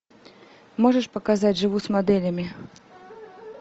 можешь показать живу с моделями